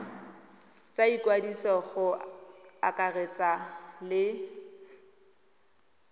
tsa ikwadiso go akaretsa le